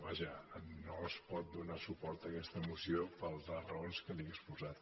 vaja no es pot donar suport a aquesta moció per les raons que li he exposat